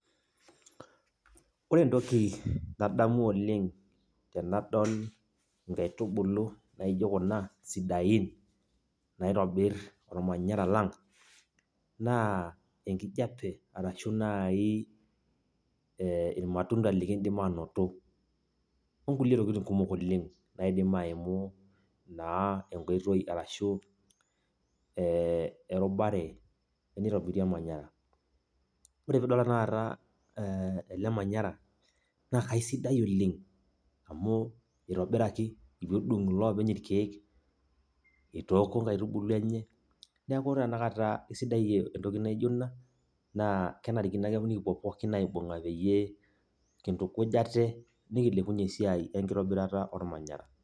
Ore entoki nadamu oleng' tenadol inkaitubulu naijo Kuna, sidain, naitobir olmanyara lang, naa enkijape arashu naai e ilmatunda lekindim ainoto o kulie tokitin kumok oleng' nekindim aimi naa enkoitoi ashu erubare teneitobiri olmanyara. Ore pee idol tenakata pee idol ele manyara naa aisidai oleng' amu etudung'oki iloopeny ilkeek eitookuo inkaitubulu enye neaku tenakata sidai entoki naijo Ina naa kenarikino ake pee kipuo pooki aibung'a peyie kintukuj aate, nikilepunye esiai e nkitobirata olmanyara.